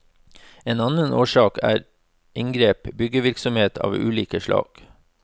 En annen årsak er inngrep, byggevirksomhet av ulike slag.